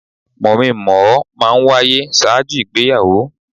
Mọ̀-mí - n-mọ̀-ọ́ máa ń wáyé ṣáájú ìgbéyàwó.